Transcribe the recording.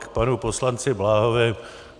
K panu poslanci Bláhovi.